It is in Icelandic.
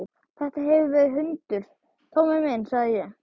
Þetta hefur verið hundur, Tommi minn, sagði ég.